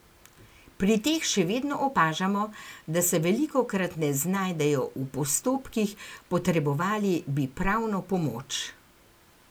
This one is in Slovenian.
Pri teh še vedno opažamo, da se velikokrat ne znajdejo v postopkih, potrebovali bi pravno pomoč.